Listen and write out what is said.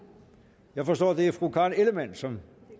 jeg forstår at det er fru karen ellemann som